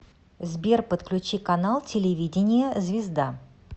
сбер подключи канал телевидения звезда